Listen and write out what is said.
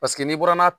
Paseke n'i bɔra n'a